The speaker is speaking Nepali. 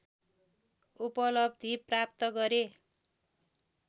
उपलब्धि प्राप्त गरे